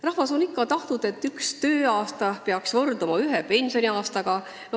Rahvas on ikka tahtnud, et üks tööaasta peaks võrduma ühe pensioniaastaga.